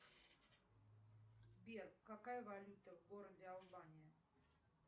сбер какая валюта в городе албания